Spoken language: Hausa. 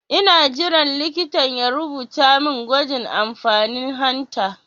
Ina jiran likitan ya rubuta min gwajin amfanin hanta